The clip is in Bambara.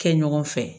Kɛ ɲɔgɔn fɛ